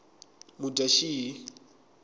mudyaxihi